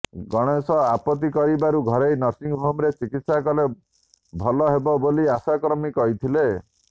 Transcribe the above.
ଗଣେଶ ଆପତ୍ତି କରିବାରୁ ଘରୋଇ ନର୍ସିଂହୋମ୍ରେ ଚିକିତ୍ସା କଲେ ଭଲ ହେବ ବୋଲି ଆଶାକର୍ମୀ କହିଥିଲେ